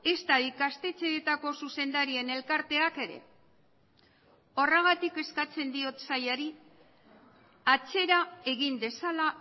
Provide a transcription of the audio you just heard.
ezta ikastetxetako zuzendarien elkarteak ere horregatik eskatzen diot sailari atzera egin dezala